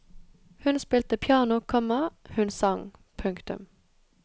Hun spilte piano, komma hun sang. punktum